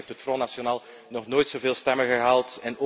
In Frankrijk heeft het Front National nog nooit zoveel stemmen gehaald.